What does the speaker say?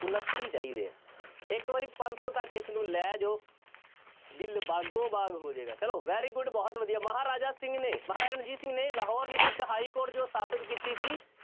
ਉਣੱਤੀ ਚਾਹੀਦੇ ਹੈ ਇੱਕ ਵਾਰੀ ਪੰਜ ਸੌ ਤੱਕ ਇਸਨੂੰ ਲੈ ਜਾਓ ਦਿਲ ਬਾਗੋ ਬਾਗ ਹੋ ਜਾਏਗਾ ਚਲੋ very good ਬਹੁਤ ਵਧੀਆ ਮਹਾਰਾਜਾ ਸਿੰਘ ਨੇ ਮਹਾਰਾਜਾ ਰਣਜੀਤ ਸਿੰਘ ਨੇ ਲਾਹੌਰ ਵਿੱਚ ਇੱਕ ਹਾਈਕੋਰਟ ਜੋ ਸਥਾਪਿਤ ਕੀਤੀ ਸੀ,